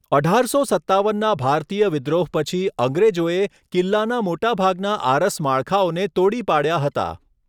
અઢારસો સત્તાવનના ભારતીય વિદ્રોહ પછી અંગ્રેજોએ કિલ્લાના મોટાભાગના આરસ માળખાઓને તોડી પાડ્યા હતા.